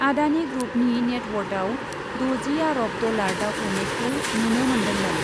आडानि ग्रुपनि नेटवार्थयाव द'जि आरब डलार दावख्लायनायखौ नुनो मोन्दोंमोन ।